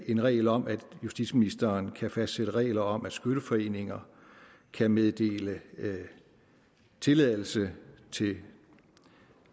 en regel om at justitsministeren kan fastsætte regler om at skytteforeninger kan meddele tilladelse til